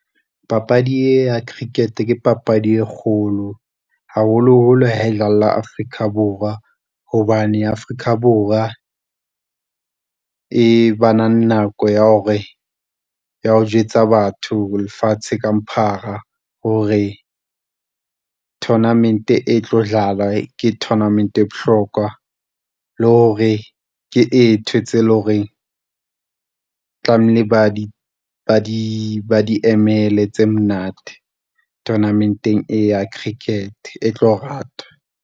Papadi e ya cricket ke papadi e kgolo, haholoholo ha e dlalla Afrika Borwa, hobane Afrika Borwa e bana le nako ya hore, ya ho jwetsa batho lefatshe ka bophara hore tournament e tlo dlala, ke tournament e bohlokwa. Le hore ke ke eng ntho tseo e leng hore tlamehile ba di, ba di, ba di emele tse monate tournament-eng e ya cricket e tlo rata.